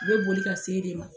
U bɛ boli ka se de ma.